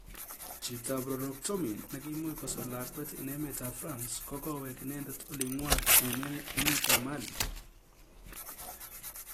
Chitab proroktonim nekiimuch kosor lakwet eng emet ab France ko kowek inendet olingwang emet ab mali.